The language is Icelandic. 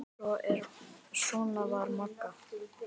Svona var Magga.